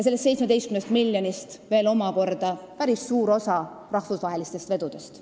Sellest 17 miljonist omakorda päris suur osa peaks tulema rahvusvahelistest vedudest.